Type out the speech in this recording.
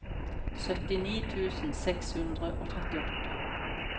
syttini tusen seks hundre og trettiåtte